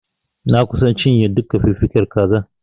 Na kusa cinye duka fiffiken kazar.